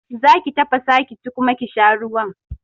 Zaki tafasa ki ci kuma ki sha ruwan